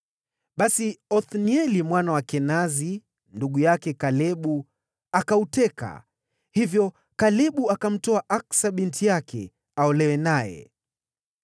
Basi Othnieli mwana wa Kenazi, ndugu yake Kalebu, akauteka; hivyo Kalebu akamtoa Aksa binti yake aolewe naye.